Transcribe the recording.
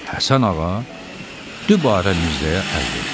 Həsən ağa, dübarə Mirzəyə əl verdi.